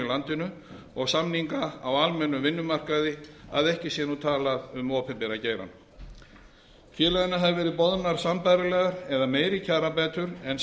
landinu og samninga á almennum vinnumarkaði að ekki sé talað um opinbera geirann félaginu hafa verið boðnar sambærilegar eða meiri kjarabætur en